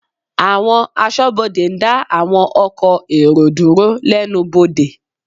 Àwọn Aṣọ́bodè ń dá àwọn ọkọ̀ èrò dúró lẹ́nu bodè